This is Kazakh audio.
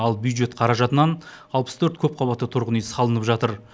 ал бюджет қаражатынан алпыс төрт көпқабатты тұрғын үй салынып жатыр